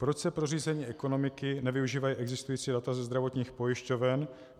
Proč se pro řízení ekonomiky nevyužívají existující data ze zdravotních pojišťoven?